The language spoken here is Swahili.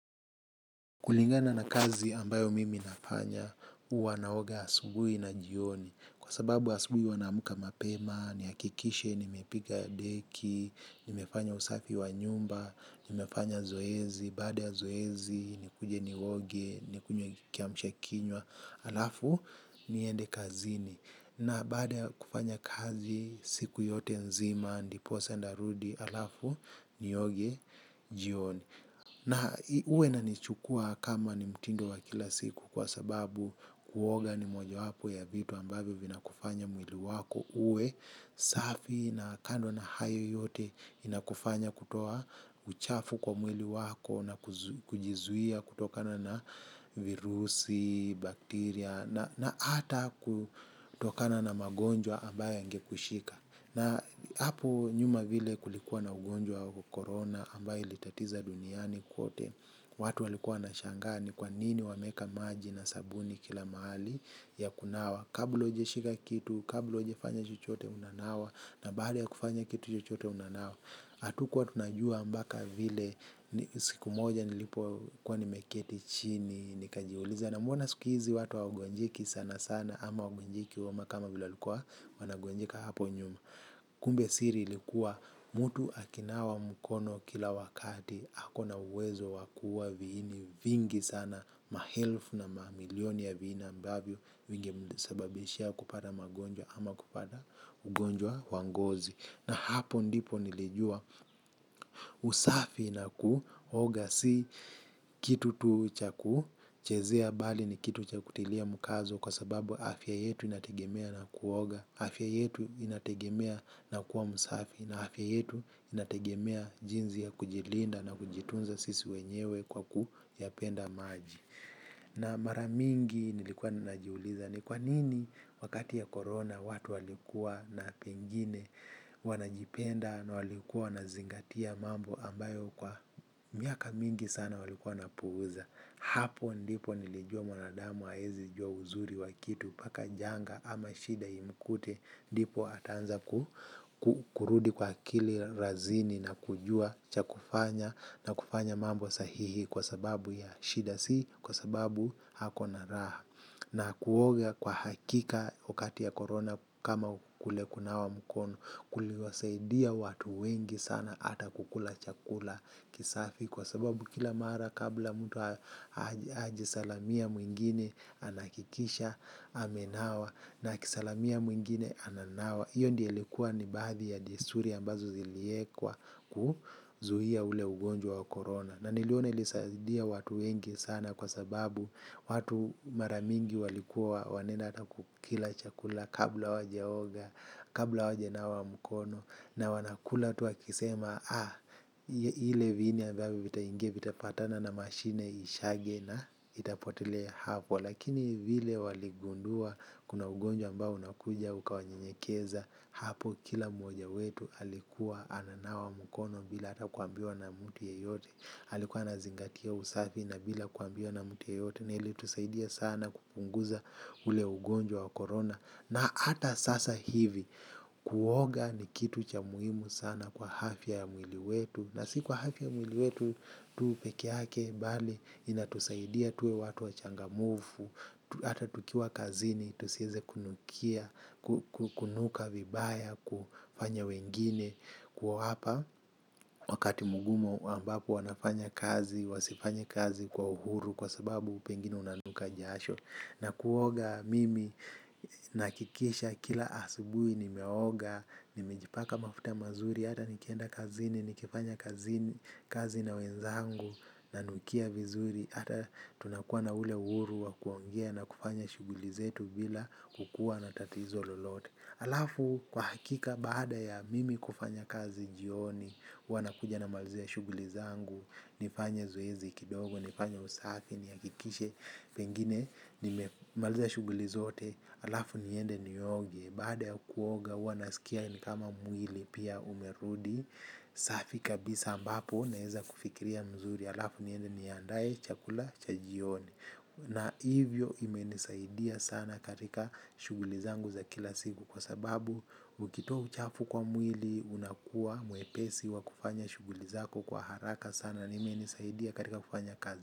Kulingana na kazi ambayo mimi nafanya, huwa naoga asubuhi na jioni. Kwa sababu asubuhi huwa naamka mapema, nihakikishe, nimepiga deki, nimefanya usafi wa nyumba, nimefanya zoezi, baada ya zoezi, nikuje nioge, nikunywe kiamshakinywa, halafu, niende kazini. Na baada ya kufanya kazi, siku yote nzima, ndiposa narudi, halafu, nioge, jioni. Na huwa inanichukuwa kama ni mtindo wa kila siku kwa sababu kuoga ni mojawapo ya vitu ambavyo vinakufanya mwili wako uwe, safi na kando na hayo yote inakufanya kutoa uchafu kwa mwili wako na kujizuia kutokana na virusi, bakteria na hata kutokana na magonjwa ambayo yangekushika. Na hapo nyuma vile kulikuwa na ugonjwa corona ambayo ilitatiza duniani kote. Watu walikuwa wanashangaa ni kwa nini wameeka maji na sabuni kila mahali ya kunawa. Kabla hujashika kitu, kabla hujafanya chochote unanawa. Na baada ya kufanya kitu chochote unanawa hatukuwa tunajua mpaka vile siku moja nilipokuwa nimeketi chini. Nikajiuliza na mbona siku hizi watu hawagonjeki sana sana. Ama hawagonjeki homa kama vile walikuwa wanagonjeka hapo nyuma. Kumbe siri ilikuwa mtu akinawa mkono kila wakati ako na uwezo wa kuua viini vingi sana. Maelfu na mamilioni ya viini ambavyo vingemsababishia kupata magonjwa ama kupata ugonjwa wa ngozi. Na hapo ndipo nilijua usafi na kuoga si kitu tu cha ku chezea mbali ni kitu cha kutilia mkazo kwa sababu afya yetu inategemea na kuoga, afya yetu inategemea na kuwa msafi, na afya yetu inategemea jinsi ya kujilinda na kujitunza sisi wenyewe kwa kuyapenda maji. Na mara mingi nilikuwa najiuliza ni kwa nini wakati ya corona watu walikuwa na pengine wanajipenda na walikuwa wanazingatia mambo ambayo kwa miaka mingi sana walikuwa wanapuuza. Hapo ndipo nilijua mwanadamu haezi jua uzuri wa kitu mpaka janga ama shida imkute ndipo ataanza kurudi kwa akili razini na kujua cha kufanya na kufanya mambo sahihi kwa sababu ya shida si kwa sababu ako na raha na kuoga kwa hakika wakati ya korona kama kule kunawa mkono kuliwasaidia watu wengi sana hata kukula chakula kisafi. Kwa sababu kila mara kabla mtu hajasalamia mwingine anahakikisha amenawa na akisalamia mwingine ananawa hiyo ndio ilikuwa ni baadhi ya desturi ambazo ziliekwa kuzuia ule ugonjwa wa Corona. Na niliona ilisaidia watu wengi sana kwa sababu watu mara mingi walikuwa wanaend hata kukila chakula kabla hawajaoga, kabla hawajanawa mkono. Na wanakula tu wakisema, ah, ile viini ambavyo vitaingia vitapatana na mashine ishage na itapotelea hapo. Lakini vile waligundua, kuna ugonjwa ambao unakuja, ukawanyenyekeza hapo, kila mmoja wetu alikuwa ananawa mkono bila hata kuambiwa na mtu yeyote. Alikuwa anazingatia usafi na bila kuambiwa na mtu yeyote. Na ilitusaidia sana kupunguza ule ugonjwa wa Corona. Na hata sasa hivi kuoga ni kitu cha muhimu sana kwa afya ya mwili wetu. Na si kwa afya ya mwili wetu tu peke yake bali inatusaidia tuwe watu wachangamfu hata tukiwa kazini tusieze kunukia, kunuka vibaya, kufanya wengine kuwapa wakati mgumu ambapo wanafanya kazi, wasifanye kazi kwa uhuru kwa sababu pengine unanuka jasho na kuoga mimi nahakikisha kila asubuhi nimeoga, nimejipaka mafuta mazuri, hata nikienda kazini, nikifanya kazini, kazi na wenzangu, nanukia vizuri, hata tunakuwa na ule uhuru wa kuongea na kufanya shughuli zetu bila kukuwa na tatizo lolote. Halafu kwa hakika baada ya Mimi kufanya kazi jioni huwa nakuja namalizia shughuli zangu, nifanye zoezi kidogo, nifanye usafi nihakikishe pengine, nimemalizia shughuli zote, halafu niende nioge, baada ya kuoga huwa nasikia ni kama mwili pia umerudi, safi kabisa ambapo naeza kufikiria mzuri, halafu niende niandae chakula cha jioni. Na hivyo imenisaidia sana katika shughuli zangu za kila siku kwa sababu ukitoa uchafu kwa mwili unakuwa mwepesi wa kufanya shughuli zako kwa haraka sana na imenisaidia katika kufanya kazi.